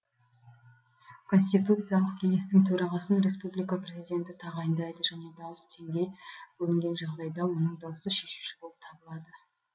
конституциялық кеңестің төрағасын республика президенті тағайындайды және дауыс теңдей бөлінген жағдайда оның дауысы шешуші болып табылады